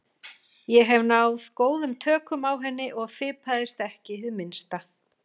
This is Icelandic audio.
Ég hafði náð góðum tökum á henni og fipaðist ekki hið minnsta.